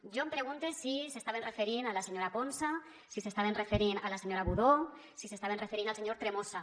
jo em pregunte si s’estaven referint a la senyora ponsa si s’estaven referint a la senyora budó si s’estaven referint al senyor tremosa